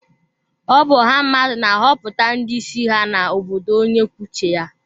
Ọ bụ ọha mmadụ na-ahọpụta ndị isi ha na obodo onye kwuo uche ya.